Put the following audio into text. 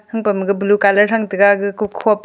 hangpam maku blue colour thang taiga ga ku khopa